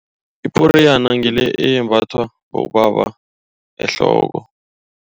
Iporiyana ngile eyembathwa bobaba ehloko.